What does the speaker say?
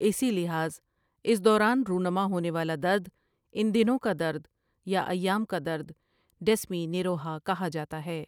اسی لحاظ اس دوران رونما ہونے والا درد ان دنوں کادرد یا ایام کا درد ڈیسمینوریہا کہا جاتا ہے ۔